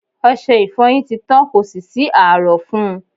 Ọṣe ìfọyín ti tán, kò sì sí ààrọ̀ fún un..